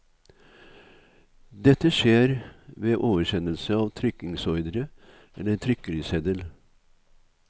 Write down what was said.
Dette skjer ved oversendelse av trykkingsordre eller trykkeriseddel.